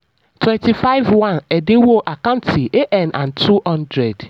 twenty five one: èdínwó ac an and two hundred